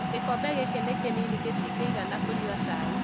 Gĩkombe gĩkĩ nĩ kĩnini gĩtingĩigana kũnyũa cai